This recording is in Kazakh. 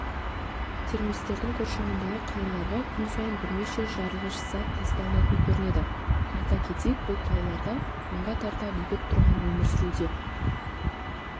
террористердің қоршауындағы қалаларға күн сайын бірнеше жарылғыш зат тасталатын көрінеді айта кетейік бұл қалаларда мыңға тарта бейбіт тұрғын өмір сүруде